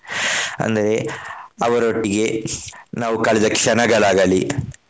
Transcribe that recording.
ಅಂದ್ರೆ ಅವರೊಟ್ಟಿಗೆ ನಾವು ಕಳೆದ ಕ್ಷಣಗಳಾಗಲಿ.